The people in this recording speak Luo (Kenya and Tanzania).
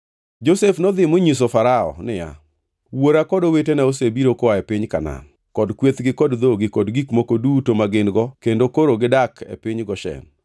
Josef nodhi monyiso Farao niya, “Wuora kod owetene osebiro koa e piny Kanaan kod kwethgi kod dhogi kod gik moko duto ma gin-go kendo koro gidak e piny Goshen.”